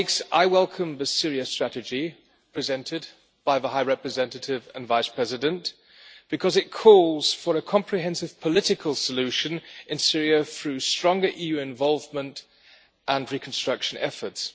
I welcome the Syria strategy presented by the High Representative and Vice President, because it calls for a comprehensive political solution in Syria through stronger EU involvement and reconstruction efforts.